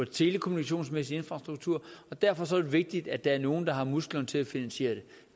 telekommunikationsmæssig infrastruktur og derfor er det vigtigt at der er nogle der har musklerne til at finansiere det